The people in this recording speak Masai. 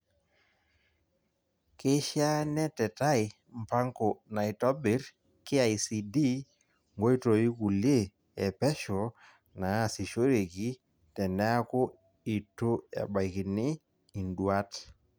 Keishaa netetai mpango naitobirr KICD nkoitoikulie epesho naasishoreki teneaku itu ebaikini induat.